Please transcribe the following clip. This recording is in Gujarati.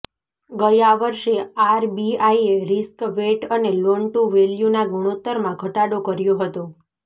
ગયા વર્ષે આરબીઆઇએ રિસ્ક વેઇટ અને લોન ટુ વેલ્યુના ગુણોત્તરમાં ઘટાડો કર્યો હતો